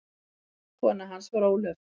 Kona hans var Ólöf